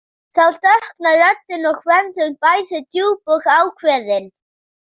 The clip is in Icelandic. Þá dökknar röddin og verður bæði djúp og ákveðin.